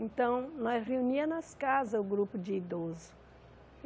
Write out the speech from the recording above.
Então, nós reuníamos nas casas o grupo de idoso.